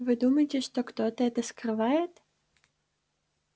вы думаете что кто-то это скрывает